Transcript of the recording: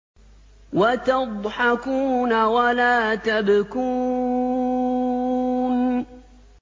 وَتَضْحَكُونَ وَلَا تَبْكُونَ